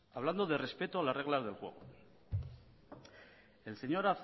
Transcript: hablando del respeto a las reglas del juego el señor